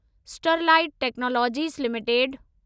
Sterlite technologies limited